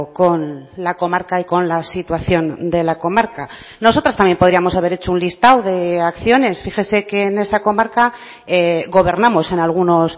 con la comarca y con la situación de la comarca nosotras también podríamos haber hecho un listado de acciones fíjese que en esa comarca gobernamos en algunos